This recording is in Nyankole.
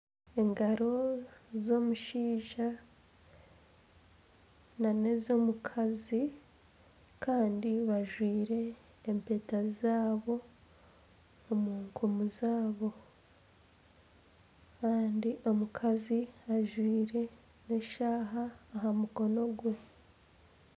Engaro z'omushaija nana ez'omukazi kandi bajwire empeta zaabo omu nkumu zaabo kandi omukazi ajwire n'eshaaha aha mukono gwe